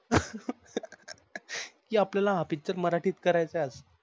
कि आपल्याला पिक्चर मराठीत करायचं आज.